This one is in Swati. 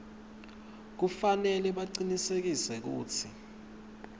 kufanele bacinisekise kutsi